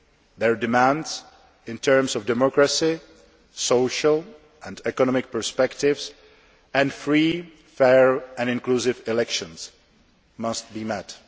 Their demands, in terms of democracy, social and economic perspectives and free, fair and inclusive elections, must be